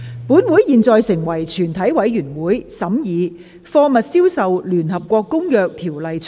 本會現在成為全體委員會，審議《貨物銷售條例草案》。